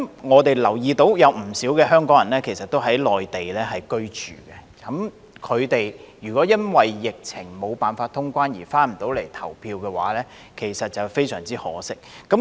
我們留意到其實有不少香港人在內地居住，他們如果因為疫情下無法通關而不能回來投票，其實非常可惜。